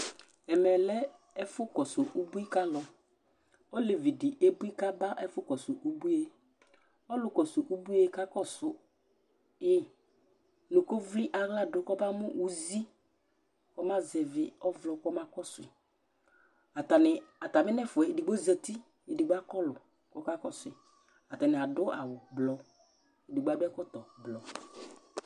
ɛmɛ lɛ ɛfu Kɔsu ubʋi kalu , olevi di ebʋi ka ba ɛfu Kɔsu ubʋie , ɔlu kɔsu ubuie kakɔsu yi nu ko vli aɣla du kɔ ba mu uzi kɔ ma zɛvi ɔvlɔ kɔ ma kɔsu , ata ni ata mi n'ɛfʋaɛ, edigbo zati, edigbo akɔlu kɔka kɔsʋi ata ni adu awu blɔ, edigbo adu ɛkɔtɔ blɔ